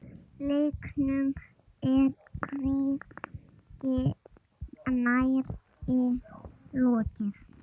Leiknum er hvergi nærri lokið.